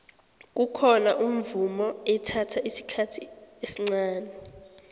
kukhona umvumo ethatha isikhathi esncani